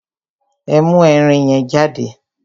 Ẹ mú ẹrin yẹn jáde!